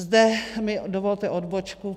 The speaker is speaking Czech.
Zde mi dovolte odbočku.